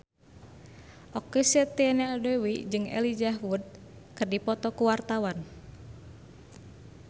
Okky Setiana Dewi jeung Elijah Wood keur dipoto ku wartawan